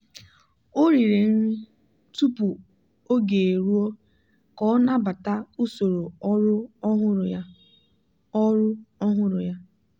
o riri nri tupu oge eruo ka ọ nabata usoro ọrụ ọhụrụ ya. ọrụ ọhụrụ ya.